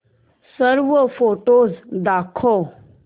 सर्व फोटोझ दाखव